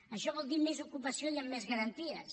això vol dir més ocupació i amb més garanties